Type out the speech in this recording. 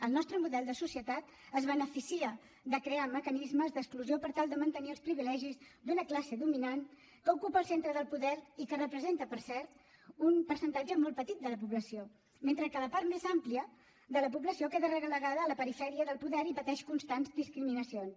el nostre model de societat es beneficia de crear mecanismes d’exclusió per tal de mantenir els privilegis d’una classe dominant que ocupa el centre del poder i que representa per cert un percentatge molt petit de la població mentre que la part més àmplia de la població queda relegada a la perifèria del poder i pateix constants discriminacions